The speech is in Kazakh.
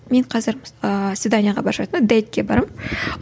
мен қазір ііі свиданиеге бара жатырмын дэйдке барамын